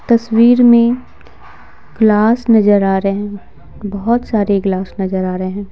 तस्वीर में ग्लास नजर आ रहे हैं बहुत सारे ग्लास नजर आ रहे हैं।